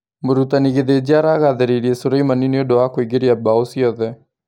Mũrutani Githinji aragathĩrĩirie Sureimani nĩũndũ wa kũingĩria mbao ciothe.